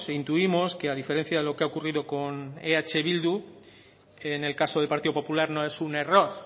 intuimos que a diferencia de lo que ha ocurrido con eh bildu en el caso del partido popular no es un error